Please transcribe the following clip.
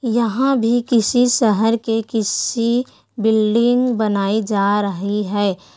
यहाँ भी किसी शहर के किसी बिल्डिंग बनाई जा रही है।